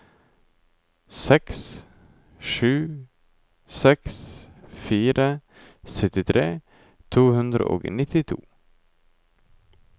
seks sju seks fire syttitre to hundre og nittito